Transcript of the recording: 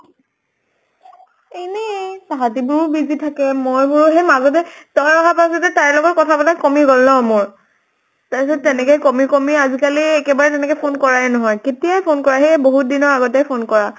এনেয়ে তাহাঁতে বোৰো busy থাকে, মই বোৰ সেই মাজতে তই অহা পাছতে তাইৰ লগত কথা পাতা কমি গʼল ন মোৰ। তাৰ পিছত তেনেকে কমি কমি আজি কালি একেবাৰে তেনেকে phone কৰায়ে নহয়। কেতিয়াই phone কৰা, সেই বহুত দিনৰ আগতে phone কৰা।